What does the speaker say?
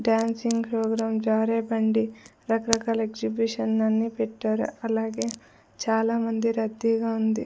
Dancing program జారే బండి రకరకాల ఎగ్జిబిషన్లన్నీ పెట్టారు అలాగే చాలామంది రద్దీగా ఉంది.